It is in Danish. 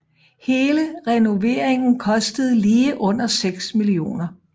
Hele renoveringen kostede lige under seks mio